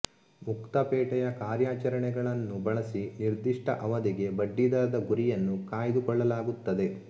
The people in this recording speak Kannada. ಮುಕ್ತ ಪೇಟೆಯ ಕಾರ್ಯಾಚರಣೆಗಳನ್ನು ಬಳಸಿ ನಿರ್ದಿಷ್ಟ ಅವಧಿಗೆ ಬಡ್ಡಿದರದ ಗುರಿಯನ್ನು ಕಾಯ್ದುಕೊಳ್ಳಲಾಗುತ್ತದೆ